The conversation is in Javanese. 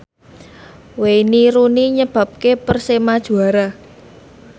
Wayne Rooney nyebabke Persema juara